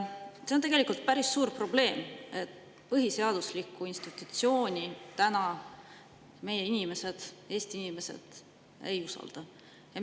See on tegelikult päris suur probleem, et põhiseaduslikku institutsiooni täna meie inimesed, Eesti inimesed, ei usalda.